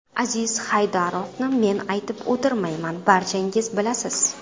Aziz Haydarovni men aytib o‘tirmayman, barchangiz bilasiz.